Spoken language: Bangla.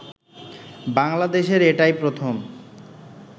বাংলাদেশের এটাই প্রথম